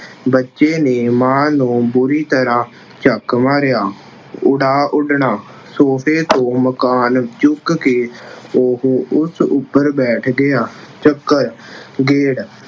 ਬੱਚੇ ਨੇ ਮਾਂ ਨੂੰ ਬੁਰੀ ਤਰ੍ਹਾਂ ਚੱਕ ਮਾਰਿਆਂ। ਉਡਾ ਉੱਡਣਾ- ਸੋਫੇ ਤੋਂ ਮਕਾਨ ਚੁੱਕ ਕੇ ਉਹ ਉਸ ਉੱਪਰ ਬੈਠ ਗਿਆ। ਚੱਕਰ-ਗੇੜ